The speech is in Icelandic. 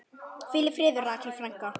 Hvíl í friði, Rakel frænka.